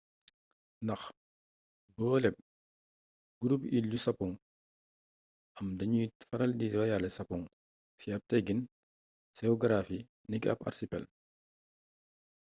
ndax booleb /gurubu iil yu sapoŋ am dañuy faral di royalee sapoŋ ci ab teggiin seogaraafi niki ab arsipel